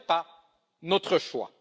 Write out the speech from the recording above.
Ce n'est pas notre choix.